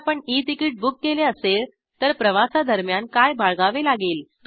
जर आपण e ticket book केले असेल तर प्रवासादरम्यान काय बाळगावे लागेल